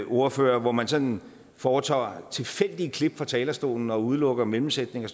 ordfører hvor man sådan foretager tilfældige klip fra talerstolen og udelukker mellemsætninger